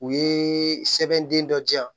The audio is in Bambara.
U ye sɛbɛn den dɔ di yan